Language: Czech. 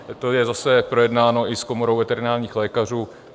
To je zase projednáno i s Komorou veterinárních lékařů.